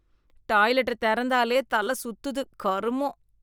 டாய்லெட்ட தெறந்தாலே தல சுத்துது கருமொம்!